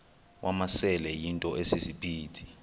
wamasele yinto esisiphithi